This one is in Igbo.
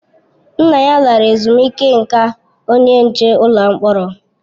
Nna ya lara ezumike nká onye nche ụlọ mkpọrọ